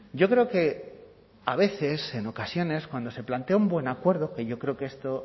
yo creo que a veces en ocasiones cuando se plantea un buen acuerdo que yo creo que esto